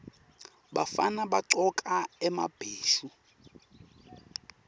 bafana bagcoka emabheshu